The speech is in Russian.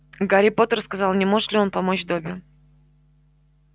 гарри поттер сказал не может ли он помочь добби